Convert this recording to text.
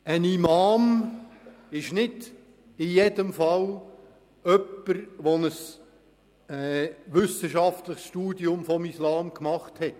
Ein Imam ist nicht in jedem Fall jemand, der ein wissenschaftliches Studium des Islam gemacht hat.